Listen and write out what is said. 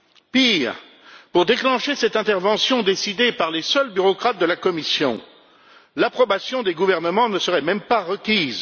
Pire, pour déclencher cette intervention décidée par les seuls bureaucrates de la Commission, l'approbation des gouvernements ne serait même pas requise